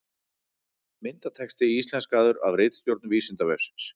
Myndatexti íslenskaður af ritstjórn Vísindavefsins.